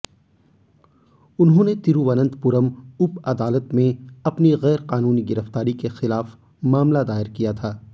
उन्होंने तिरुवनंतपुरम उप अदालत में अपनी गैरकानूनी गिरफ्तारी के खिलाफ मामला दायर किया था